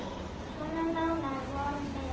Svo nánar vorum við.